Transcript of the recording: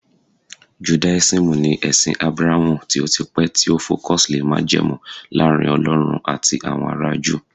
judaism ni ẹsìn abrahamu tio tí pẹ ti o focus lè majemu Laarin ọlọrun ati awọn ara juu